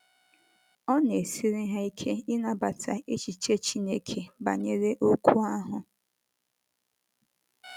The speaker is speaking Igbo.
Ọ na - esiri ha ike ịnabata echiche Chineke banyere okwu ahụ.